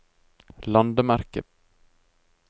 landemerke